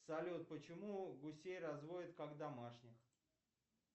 салют почему гусей разводят как домашних